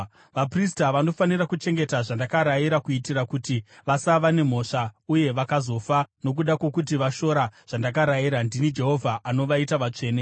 “ ‘Vaprista vanofanira kuchengeta zvandakarayira kuitira kuti vasava nemhosva uye vakazofa nokuda kwokuti vashora zvandakarayira. Ndini Jehovha anovaita vatsvene.